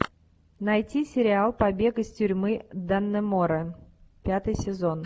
найти сериал побег из тюрьмы даннемора пятый сезон